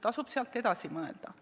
Tasub sealt edasi mõelda.